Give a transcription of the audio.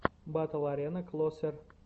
батл арена клосер